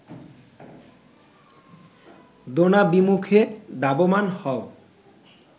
দ্রোণাভিমুখে ধাবমান হও